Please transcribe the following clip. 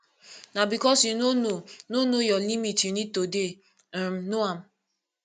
na because you no know no know your limit you need to dey um know am